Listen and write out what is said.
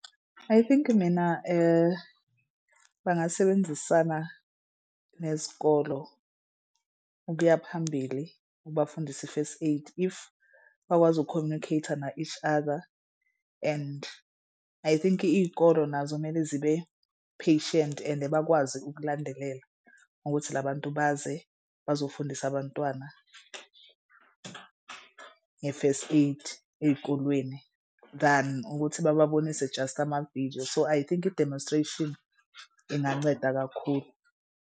I think mina bangasebenzisana nezikolo ukuya phambili ubafundise i-first aid if bakwazi uku-communicate-a na-each other and I think iy'kolo nazo mele zibe-patient and bakwazi ukulandelela ngokuthi la bantu baze bazofundisa abantwana nge-first aid ey'kolweni than ukuthi bababonise just amavidiyo. So I think i-demonstration kunganceda kakhulu.